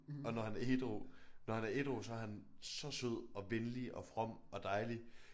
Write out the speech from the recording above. Og når han er ædru når han er ædru så er han så sød og venlig og from og dejlig